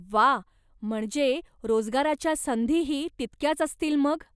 व्वा! म्हणजे रोजगाराच्या संधीही तितक्याच असतील मग.